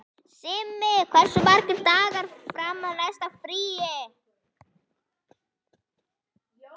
Simmi, hversu margir dagar fram að næsta fríi?